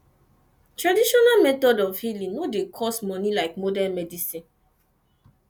traditional method of healing no dey cost money like modern medicine